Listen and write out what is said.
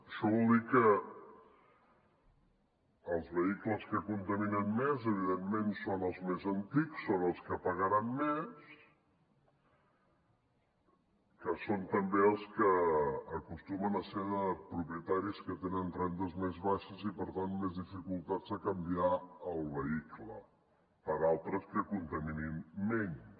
això vol dir que els vehicles que contaminen més evidentment són els més antics són els que pagaran més que són també els que acostumen a ser de propietaris que tenen rendes més baixes i per tant més dificultats de canviar el vehicle per altres que contaminin menys